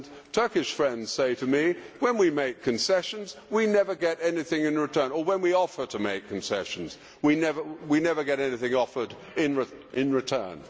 Turkish friends say to me when we make concessions, we never get anything in return' or when we offer to make concessions, we never get anything offered in return'.